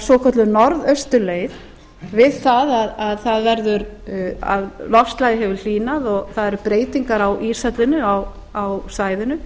svokölluð norðausturleið við það að loftslagið hefur hlýnað og það eru breytingar á íshellunni á svæðinu